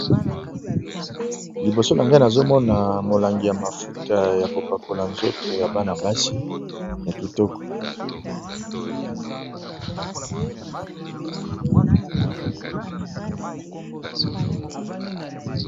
Liboso na ngai nazomona molangi ya mafuta yako pakola nzoto ya bana basi ya kitoko.